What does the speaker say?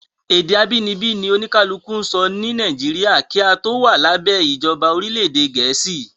Ède abínibí ni oníkálukú ń sọ ni Nàìjíríà kí a tó wà lábẹ ìjọba orílẹ̀ ède Gẹ̀ẹ́sì.